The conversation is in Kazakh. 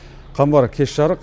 қамбар кеш жарық